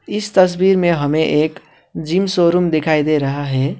इस तस्वीर में हमें एक जिम शोरूम दिखाई दे रहा है।